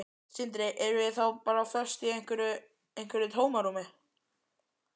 Sindri: Erum við þá bara föst í einhverju, einhverju tómarúmi?